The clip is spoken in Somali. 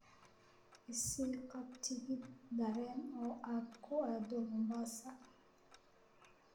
I sii qab tigidh tareen oo aad ku aado Mombasa